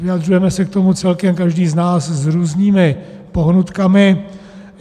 Vyjadřujeme se k tomu celkem každý z nás s různými pohnutkami.